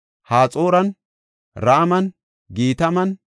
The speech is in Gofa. Haxooran, Raman, Gitaman,